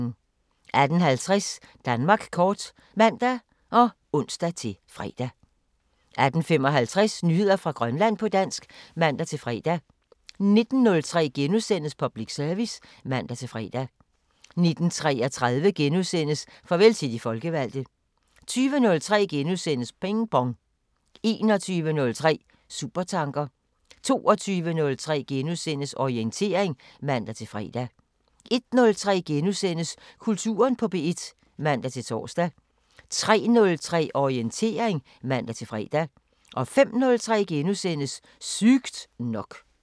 18:50: Danmark kort (man og ons-fre) 18:55: Nyheder fra Grønland på dansk (man-fre) 19:03: Public Service *(man-fre) 19:33: Farvel til de folkevalgte * 20:03: Ping Pong * 21:03: Supertanker 22:03: Orientering *(man-fre) 01:03: Kulturen på P1 *(man-tor) 03:03: Orientering (man-fre) 05:03: Sygt nok *